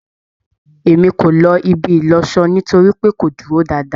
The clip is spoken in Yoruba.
E mí ko ló ibi ìlọṣọ nítorípé kò dúró dáadáa